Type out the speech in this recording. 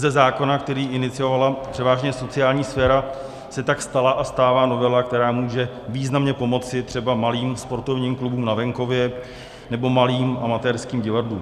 Ze zákona, který iniciovala převážně sociální sféra, se tak stala a stává novela, která může významně pomoci třeba malým sportovním klubům na venkově nebo malým amatérským divadlům.